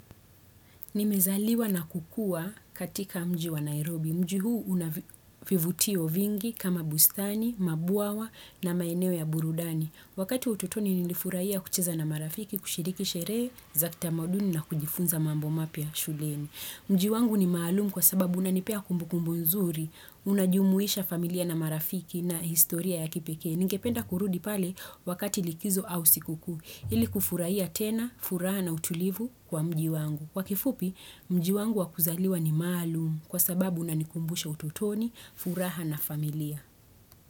Nimezaliwa na kukua katika mji wa Nairobi. Mji huu unavi, vivutio vingi kama bustani, mabwawa na maeneo ya burudani. Wakati ututoni nilifurahia kucheza na marafiki kushiriki sherehe, za kitamaduni na kujifunza mambo mapya shuleni. Mji wangu ni maalumu kwa sababu unanipea kumbukumbu nzuri, unajumuisha familia na marafiki na historia ya kipekee. Ningependa kurudi pale wakati likizo au sikukuu. Ili kufurahia tena, furaha na utulivu kwa mji wangu. Kwa kifupi, mji wangu wa kuzaliwa ni maalumu, kwa sababu unanikumbusha utotoni, furaha na familia.